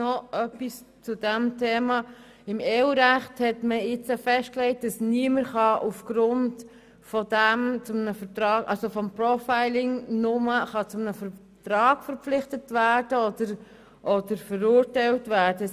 Noch etwas zu diesem Thema: Im EU-Recht wurde vor kurzem festgelegt, dass niemand aufgrund von Profiling zu einem Vertrag verpflichtet oder verurteilt werden kann.